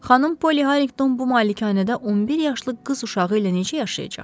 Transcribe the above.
Xanım Polly Harrington bu malikanədə 11 yaşlı qız uşağı ilə necə yaşayacaq?